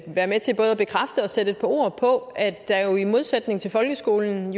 sætte et par ord på at der i modsætning til folkeskolen